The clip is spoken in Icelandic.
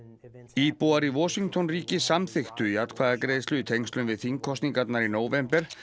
íbúar í Washington ríki samþykktu í atkvæðagreiðslu í tengslum við þingkosningarnar í nóvember